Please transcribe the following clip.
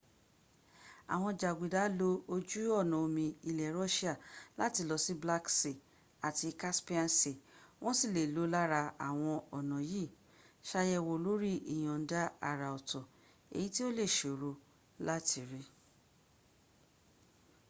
àwọn jàgùdà lo ojú ọ̀nà omi ilẹ̀ russia láti lọ sí black sea àti caspian sea. wọ́n sì le lò lára àwọn ọ̀nà yìí. sàyẹ̀wò lórí ìyọ̀ǹda àrà ọ̀tọ̀ èyí tí ó lè sòro láti rí